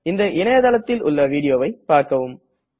இந்த இணையதளத்தில் உள்ள வீடியோவை பார்க்கவும்